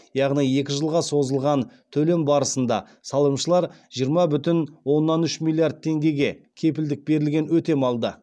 яғни екі жылға созылған төлем барысында салымшылар жиырма бүтін оннан үш миллиард теңгеге кепілдік берілген өтем алды